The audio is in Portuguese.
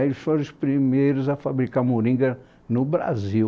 Eles foram os primeiros a fabricar moringa no Brasil.